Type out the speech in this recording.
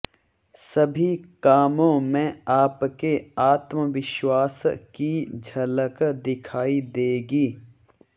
सभी कामों में आपके आत्मविश्वास की झलक दिखाई देगी